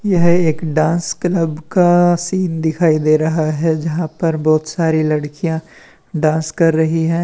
यह एक dance club का सीन दिखाई दे रहा है जहां पर बहुत सारी लड़कियां डांस कर रही हैं।